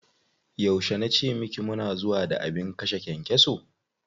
Yauce na ce miki mu na zuwa da abin kashe kyankyaso?